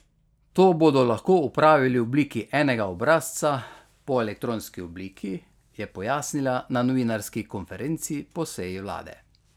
To bodo lahko opravili v obliki enega obrazca po elektronski obliki, je pojasnila na novinarski konferenci po seji vlade.